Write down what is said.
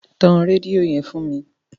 Tan rédíó yẹn fún mi.